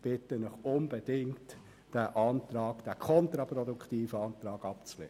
Ich bitte Sie unbedingt, diesen kontraproduktiven Antrag abzulehnen.